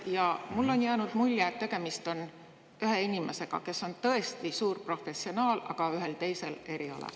Ja mulle on jäänud mulje, et tegemist on ühe inimesega, kes on tõesti suur professionaal, aga ühel teisel erialal.